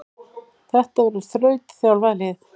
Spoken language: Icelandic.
Þetta verður þrautþjálfað lið.